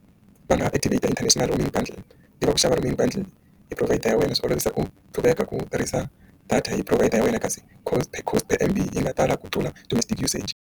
Va nga activate international roaming bundles ti va ku xava roaming bundles hi provider ra wena swi olovisa ku private car ku tirhisa data hi provider ya wena kasi cost park cost and yi nga tala ku tlula domestic usage.